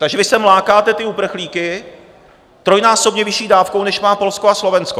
Takže vy sem lákáte ty uprchlíky trojnásobně vyšší dávkou, než má Polsko a Slovensko.